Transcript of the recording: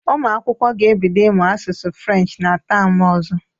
Ụmụ akwụkwọ ga-ebido ịmụ asụsụ French na tem ọzọ.